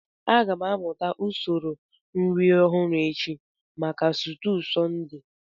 Aga m amụta usoro nri ọhụrụ echi maka stuu Sunday